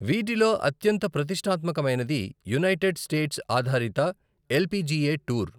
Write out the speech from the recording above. వీటిలో అత్యంత ప్రతిష్టాత్మకమైనది యునైటెడ్ స్టేట్స్ ఆధారిత ఎల్పిజిఏ టూర్.